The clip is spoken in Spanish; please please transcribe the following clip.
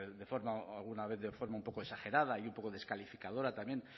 de forma alguna vez de forma un poco exagerada y un poco descalificadora también